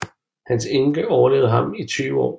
Hans enke overlevede ham i 20 år